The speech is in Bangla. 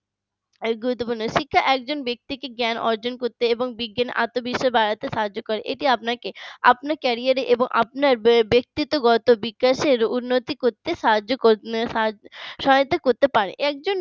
গুরুত্বপূর্ণ শিক্ষা একজন ব্যক্তিকে জ্ঞান অর্জন করতে এবং বিজ্ঞান আত্মবিশ্বাস বাড়াতে সাহায্য করে আপনার career রে এবং আপনার ব্যক্তিত্ব গত বিকাশের উন্নতি করতে সাহায্য সহায়তা করতে পারে একজন